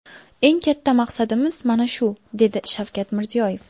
Eng katta maqsadimiz mana shu, dedi Shavkat Mirziyoyev.